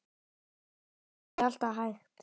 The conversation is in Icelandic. Það sé ekki alltaf hægt.